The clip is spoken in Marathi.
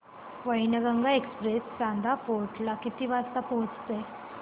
वैनगंगा एक्सप्रेस चांदा फोर्ट ला किती वाजता पोहचते